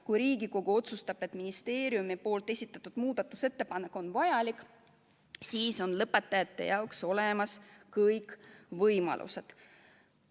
Kui Riigikogu otsustab, et ministeeriumi esitatud muudatusettepanek on vajalik, siis on lõpetajate jaoks olemas kõik võimalused.